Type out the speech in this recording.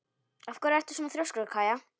Af hverju ertu svona þrjóskur, Kaía?